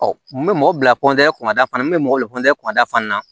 n bɛ mɔgɔ bila kun kada fana n bɛ mɔgɔ bila kunkada fana na